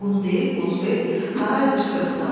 Bunu deyib qozbel haray qışqırıq saldı.